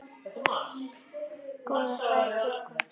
Góða ferð til Guðs.